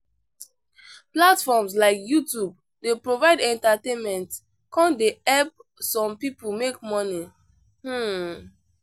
Platforms like Youtube dey provide entertainment come dey help some people make money. um